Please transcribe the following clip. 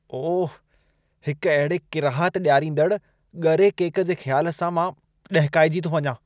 ओह, हिकु अहिड़े किराहत ॾियारींदड़़ ॻरे केक जे ख़्यालु सां मां ॾहिकाइजी थो वञा।